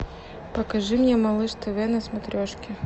покажи мне малыш тв на смотрешке